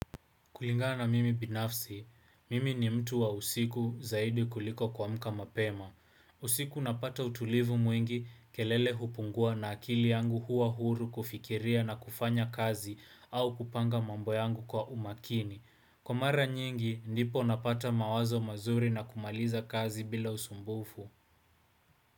Kulingana mimi binafsi, mimi ni mtu wa usiku zaidi kuliko kuamka mapema. Usiku napata utulivu mwingi kelele hupungua na akili yangu huwa huru kufikiria na kufanya kazi au kupanga mambo yangu kwa umakini. Kwa mara nyingi, ndipo napata mawazo mazuri na kumaliza kazi bila usumbufu.